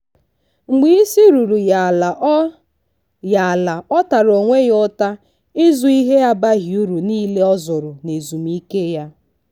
mgbe isi ruru ya ala ọ ya ala ọ tara onwe ya ụta ịzụ ihe abaghi uru niile o zụrụ na ezumike ya.